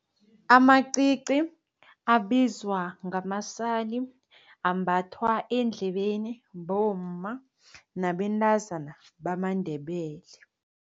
Amacici abizwa ngamasali ambathwa endlebeni bomma nabentazana bamaNdebele.